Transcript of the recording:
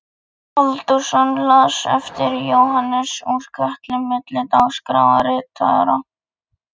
Halldórsson las ljóð eftir Jóhannes úr Kötlum milli dagskráratriða.